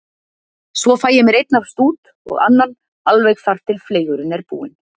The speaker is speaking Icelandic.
Svo fæ ég mér einn af stút, og annan, alveg þar til fleygurinn er búinn.